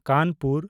Kanpur